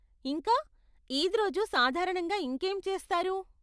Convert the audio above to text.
ఇంకా, ఈద్ రోజు సాధారణంగా ఇంకేం చేస్తారు?